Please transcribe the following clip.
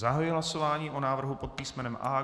Zahajuji hlasování o návrhu pod písmenem A.